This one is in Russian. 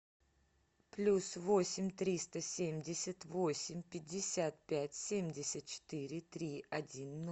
плюс восемь триста семьдесят восемь пятьдесят пять семьдесят четыре три один